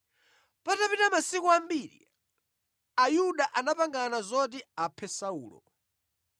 Patapita masiku ambiri, Ayuda anapangana zoti aphe Saulo,